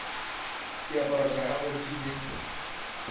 diaparo tša gagwe di be